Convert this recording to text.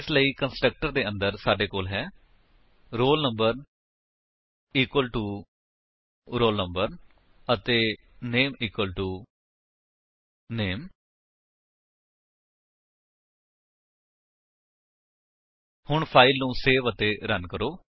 ਇਸ ਲਈ ਕੰਸਟਰਕਟਰ ਦੇ ਅੰਦਰ ਸਾਡੇ ਕੋਲ ਹੈ roll number equal to roll number ਅਤੇ ਨਾਮੇ ਇਕੁਅਲ ਟੋ ਨਾਮੇ ਹੁਣ ਫਾਇਲ ਨੂੰ ਸੇਵ ਅਤੇ ਰਨ ਕਰੋ